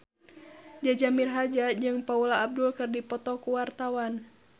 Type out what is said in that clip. Jaja Mihardja jeung Paula Abdul keur dipoto ku wartawan